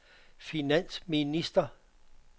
finansminister